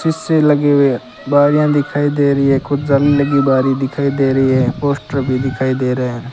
सीसे लगे हुए बारिया दिखाई दे रही है कुछ बारी लगी बाहरी दिखाई दे रही है पोस्टर भी दिखाई दे रहे है।